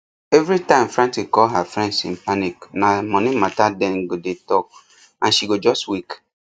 every time frantic call her friends in panic na money matter dem go dey talk and she go just weak